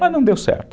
não deu certo.